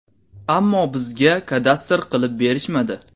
Ammo bizga kadastr qilib berishmadi”.